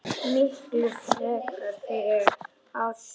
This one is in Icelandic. Miklu frekar fyrir Ársæl.